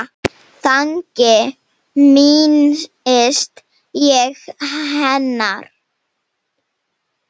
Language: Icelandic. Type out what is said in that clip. Þannig minnist ég hennar.